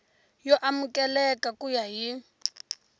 yo amukeleka ku ya hi